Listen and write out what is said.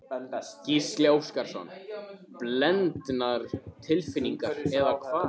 Gísli Óskarsson: Blendnar tilfinningar eða hvað?